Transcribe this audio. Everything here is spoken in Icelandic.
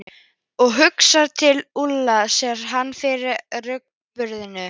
Og hugsar til Úlla, sér hann fyrir sér í rúgbrauðinu.